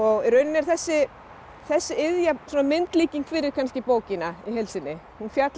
í rauninni er þessi þessi iðja svona myndlíking fyrir kannski bókina í heild sinni hún fjallar